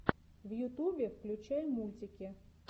в ютубе включай мультики